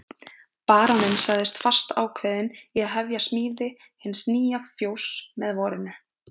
Baróninn sagðist fastákveðinn í að hefja smíði hins nýja fjóss með vorinu.